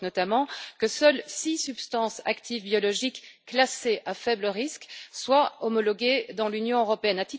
Poc, notamment que seules six substances actives biologiques classées à faible risque soient homologuées dans l'Union européenne.